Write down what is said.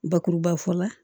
Bakuruba fɔ la